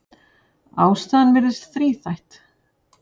Ástæðan virðist þríþætt.